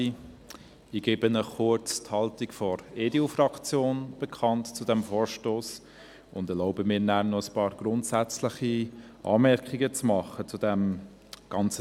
Ich gebe Ihnen die Haltung der EDU-Fraktion zu diesem Vorstoss bekannt und erlaube mir anschliessend noch einige grundsätzliche Anmerkungen zu diesem Thema.